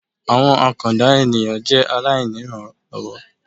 Àwọn àkàndá ènìyàn jẹ́ aláìnírànlọ́wọ́